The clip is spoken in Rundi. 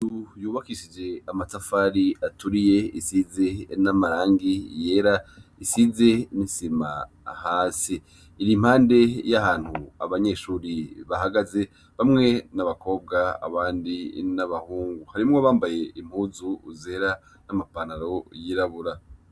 Inzu yubakishije amatafari aturiye isize n'amarangi yera isize n'isima hasi, iri impande y'ahantu abanyeshure bahagaze bamwe n'abakobwa abandi n'abahungu, harimwo abambaye impuzu zera n'amapantaro yirabura.